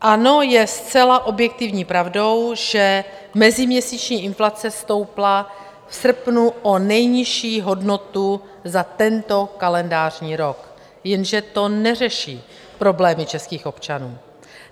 Ano, je zcela objektivní pravdou, že meziměsíční inflace stoupla v srpnu o nejnižší hodnotu za tento kalendářní rok, jenže to neřeší problémy českých občanů.